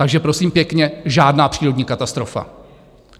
Takže prosím pěkně, žádná přírodní katastrofa.